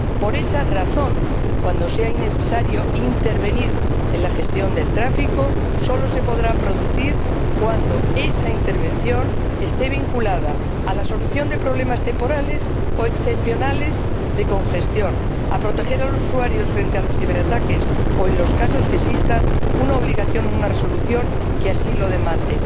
Por esa razón, cuando sea necesario intervenir en la gestión del tráfico, esta intervención solo se podrá producir cuando esté vinculada a la solución de problemas temporales o excepcionales de congestión, a proteger a los usuarios frente a los ciberataques o en los casos en que exista una obligación, una resolución que así lo demande